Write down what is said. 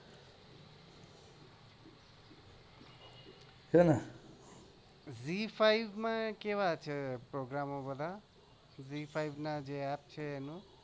છે ને zee five માં કેવા છે પ્રોગ્રામ બધા zee five app જે છે એનું